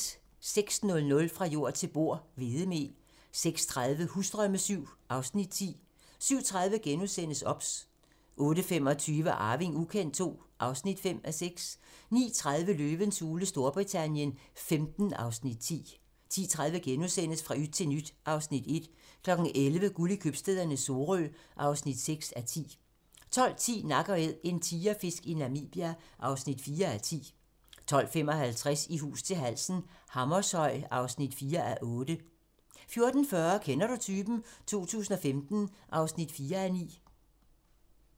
06:00: Fra jord til bord: Hvedemel 06:30: Husdrømme VII (Afs. 10) 07:30: OBS * 08:25: Arving ukendt II (5:6) 09:30: Løvens hule Storbritannien XV (Afs. 10) 10:30: Fra yt til nyt (Afs. 1)* 11:00: Guld i købstæderne - Sorø (6:10) 12:10: Nak & Æd - en tigerfisk i Namibia (4:10) 12:55: I hus til halsen - Hammershøj (4:8) 14:40: Kender du typen? 2015 (4:9)